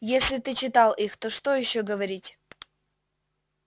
если ты читал их то что ещё говорить